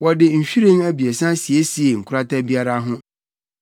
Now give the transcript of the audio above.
Wɔde nhwiren abiɛsa siesiee nkorata biara ho.